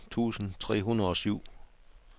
atten tusind tre hundrede og syv